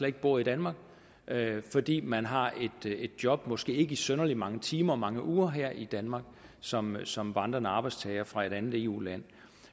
ikke bor i danmark fordi man har et job måske ikke i synderlig mange timer og mange uger her i danmark som som vandrende arbejdstager fra et andet eu land